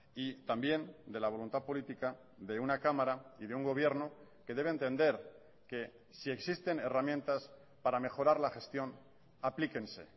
y también de la voluntad política de una cámara y de un gobierno que debe entender que si existen herramientas para mejorar la gestión aplíquense